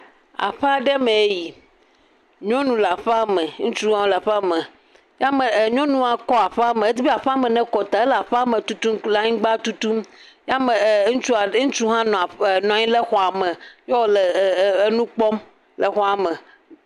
Aƒe aɖe mee yi, nyɔnu le aƒea me, ŋutsu le aƒea me, nyɔnua kɔ aƒea me, edzi be aƒea me ne kɔ taa wle aƒea me tutum le anyigba tutum , ya me ŋutsu hã nɔ aƒea me, xɔ me eye wole nu kpɔm le aƒea me.